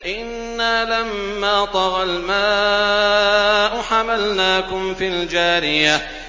إِنَّا لَمَّا طَغَى الْمَاءُ حَمَلْنَاكُمْ فِي الْجَارِيَةِ